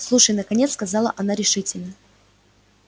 слушай наконец сказала она решительно